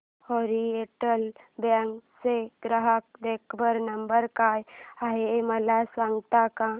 oriental bank चा ग्राहक देखभाल नंबर काय आहे मला सांगता का